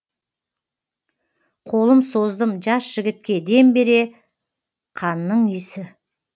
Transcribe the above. қолым создым жас жігітке дем бере қанның исі